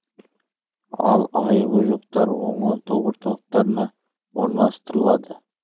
ал айыбы жоқтар оңалту орталықтарына орналастырылады